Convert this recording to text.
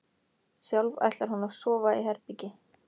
Sjálf ætlar hún að sofa í herbergi